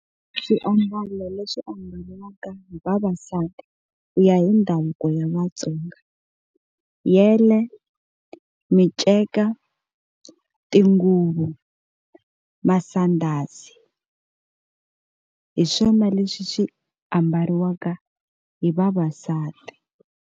Swiambalo leswi ambalaka hi vavasati ku ya hi ndhavuko ya Vatsonga yele, miceka tinguvu, masandhazi hi swona leswi swi ambariwaka hi vavasati.